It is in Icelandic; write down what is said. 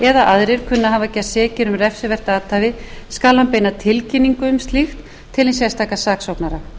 aðrir kunni að hafa gerst sekir um refsivert athæfi skal hann beina tilkynningu um slíkt til hins sérstaka saksóknara